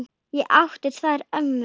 Ég átti tvær ömmur.